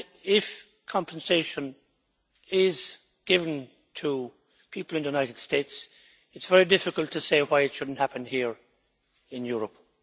If compensation is given to people in the United States then it is very difficult to say why it should not happen here in Europe.